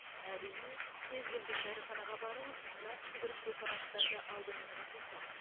әрине кез келген дәріханаға барыңыз нақты бір препараттарды алдыңызға тосады